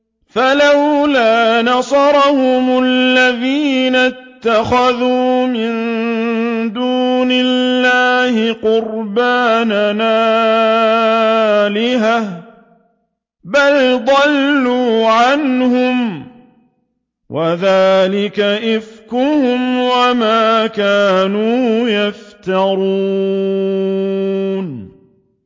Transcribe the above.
فَلَوْلَا نَصَرَهُمُ الَّذِينَ اتَّخَذُوا مِن دُونِ اللَّهِ قُرْبَانًا آلِهَةً ۖ بَلْ ضَلُّوا عَنْهُمْ ۚ وَذَٰلِكَ إِفْكُهُمْ وَمَا كَانُوا يَفْتَرُونَ